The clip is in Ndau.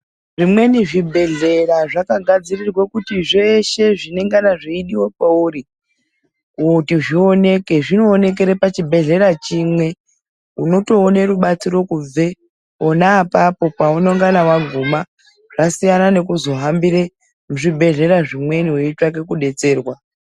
Zvimweni zvibhedhleya zvakagadzirirwa kuti zveshe zvinongana zveidiwa kwouri kuti zvioneke zvinoonekera pachibhedhleya chimwe, unotoona rubatsiro kubve pona apapo paunongana waguma zvasiyana nekuzohambira zvibhedhlera zvimweni weitsvake kudetserwa.